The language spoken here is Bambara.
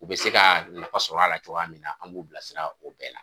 U be se ka nafa sɔrɔ a la cogoya mun na an b'u bila sira o bɛɛ la.